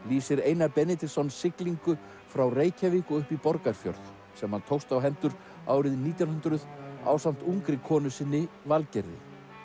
lýsir Einar Benediktsson siglingu frá Reykjavík og upp í Borgarfjörð sem hann tókst á hendur árið nítján hundruð ásamt ungri konu sinni Valgerði